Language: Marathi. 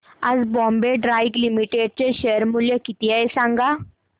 आज बॉम्बे डाईंग लिमिटेड चे शेअर मूल्य किती आहे सांगा